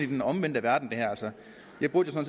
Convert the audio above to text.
den omvendte verden jeg burde jo